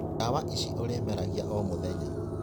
Ndawa ici urĩmeragia omũthenya.